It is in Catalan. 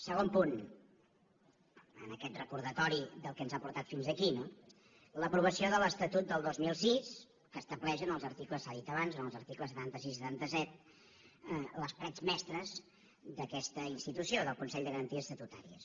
segon punt en aquest recordatori del que ens ha portat fins a aquí no l’aprovació de l’estatut del dos mil sis que estableix en els articles s’ha dit abans setanta sis i setanta set les parets mestres d’aquesta institució del consell de garanties estatutàries